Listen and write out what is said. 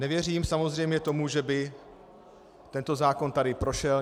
Nevěřím samozřejmě tomu, že by tento zákon tady prošel.